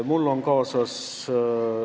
Mul on kaasas ...